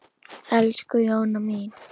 Elsku Jóna mín.